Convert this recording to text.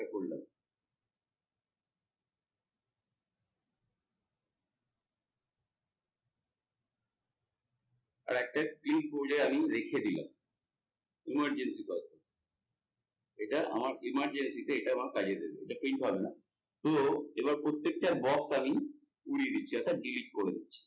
আরেকটা আমি রেখে দিলাম emergency perpose, এটা আমার emergency তে এটা আমার কাজে দেবে এটা print হবে না তো এবার প্রত্যেকটা box আমি উড়িয়ে দিচ্ছি অর্থাৎ delete করে দিচ্ছি।